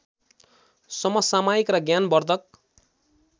समसामयिक र ज्ञानवर्द्धक